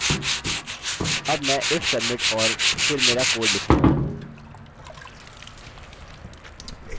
अब मैं if submit और फिर मेरा कोड लिखूँगा